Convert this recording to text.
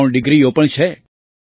ની ત્રણ ડિગ્રીઓ પણ છે